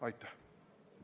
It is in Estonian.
Aitäh!